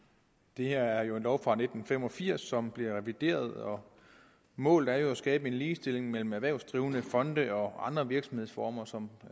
det her er jo en lov fra nitten fem og firs som bliver revideret og målet er at skabe ligestilling mellem erhvervsdrivende fonde og andre virksomhedsformer som